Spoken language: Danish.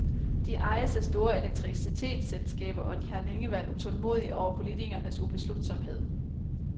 De ejes af store elektricitetsselskaber, og de har længe været utålmodige over politikernes ubeslutsomhed.